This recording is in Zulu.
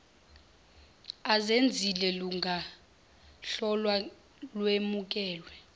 azenzile lungahlolwa lwemukelwe